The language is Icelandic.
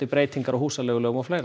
breytingar á húsaleigulögum og fleirum